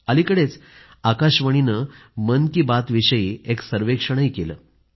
अलिकडेच आकाशवाणीने मन की बातविषयी एक सर्वेक्षणही केलं आहे